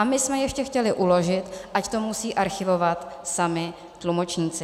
A my jsme ještě chtěli uložit, ať to musí archivovat sami tlumočníci.